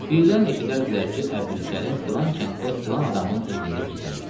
Birdən eşidərdilər ki, Əbdülkərim filan kənddə filan adamın evində gizlənibdir.